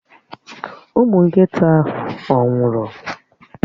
Ụmụ nkịta ahụ ọ̀ nwụrụ?